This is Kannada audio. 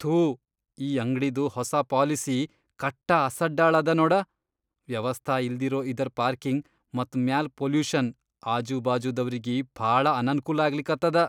ಥೂ ಈ ಅಂಗ್ಡಿದು ಹೊಸಾ ಪಾಲಿಸಿ ಕಟ್ಟ ಅಸಡ್ಡಾಳ್ ಅದ ನೋಡ. ವ್ಯವಸ್ಥಾ ಇಲ್ದಿರೋ ಇದರ್ ಪಾರ್ಕಿಂಗ್ ಮತ್ ಮ್ಯಾಲ್ ಪೊಲ್ಯುಷನ್ ಆಜೂಬಾಜುದವ್ರಿಗಿ ಭಾಳ ಅನನ್ಕೂಲ ಆಗ್ಲಿಕತ್ತದ.